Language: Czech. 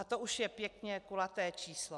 A to už je pěkně kulaté číslo.